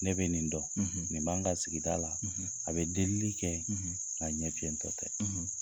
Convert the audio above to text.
Ne bɛ nin dɔn, nin b'an ka sigida la, a bɛ delili kɛ, a ɲɛ fiyɛntɔ tɛ.